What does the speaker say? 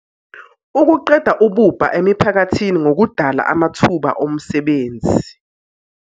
ukuqeda ububha emiphakathini ngokudala amathuba omsebenzi.